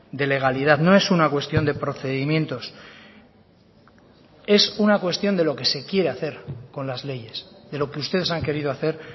de legalidad no es una cuestión de procedimientos es una cuestión de lo que se quiera hacer con las leyes de lo que ustedes han querido hacer